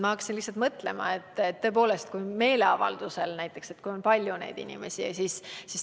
Ma hakkasin mõtlema, et tõepoolest, kui tegemist on näiteks meeleavaldusega, kus on palju neid inimesi.